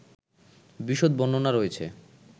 বিশদ বর্ণনা রয়েছে